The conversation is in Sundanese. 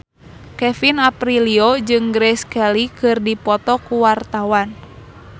Kevin Aprilio jeung Grace Kelly keur dipoto ku wartawan